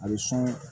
A bɛ sɔn